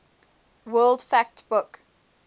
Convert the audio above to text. world fact book